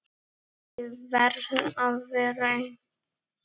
Ég verð að vera ein.